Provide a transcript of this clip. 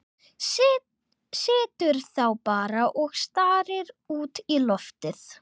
Situr þá bara og starir út í loftið.